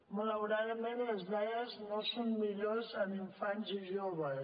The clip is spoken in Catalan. malauradament les dades no són millors en infants i joves